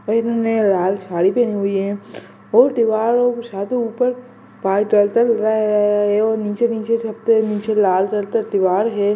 ma'am ने लाल साडी पहनी हुई है और तेवार ऊपर चल-चल--